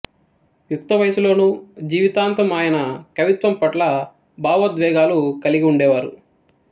యుక్త వయసులోనూ జీవితాంతం ఆయన కవిత్వం పట్ల భవోద్వేగాలు కలిగి ఉండేవారు